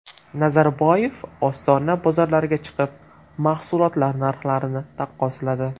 Nazarboyev Ostona bozorlariga chiqib, mahsulotlar narxlarini taqqosladi.